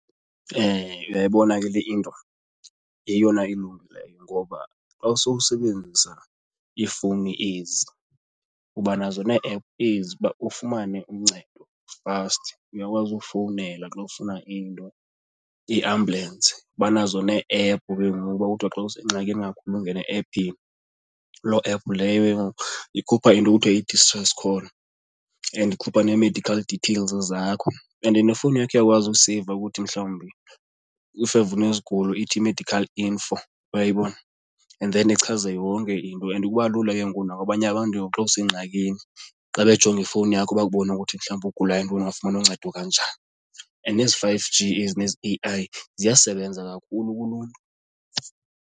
Uyayibona ke le into yeyona ilungileyo ngoba xa sowusebenzisa iifowuni ezi uba nazo nee-app ezi uba ufumane uncedo fast. Uyakwazi ufowunela xa ufuna into, iambulensi. Banazo nee-app ke ngoku uba kuthiwa xa usengxakini kakhulu ungene ephini loo app leyo ikhupha into ekuthiwa yi-distance call and ikhupha nee-medical details zakho. And then nefowuni yakho iyakwazi ukuseyiva ukuthi mhlawumbi if ever unezigulo ithi medical info uyayibona, and then ichaze yonke into and kuba lula ke ngoku nakwabanye abantu ke ngoku xa usengxakini xa bejonga ifowuni yakho bakubone ukuthi mhlawumbi ugula yintoni, ungafumana uncedo kanjani. And ezi five g ezi nezi A_I ziyasebenza kakhulu kuluntu.